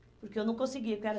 Porque eu não conseguia. Porque era